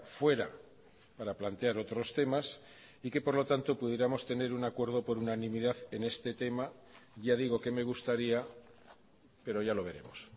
fuera para plantear otros temas y que por lo tanto pudiéramos tener un acuerdo por unanimidad en este tema ya digo que me gustaría pero ya lo veremos